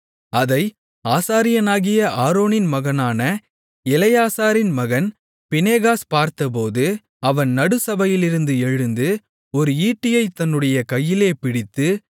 அதை ஆசாரியனாகிய ஆரோனின் மகனான எலெயாசாரின் மகன் பினெகாஸ் பார்த்தபோது அவன் நடுச்சபையிலிருந்து எழுந்து ஒரு ஈட்டியைத் தன்னுடைய கையிலே பிடித்து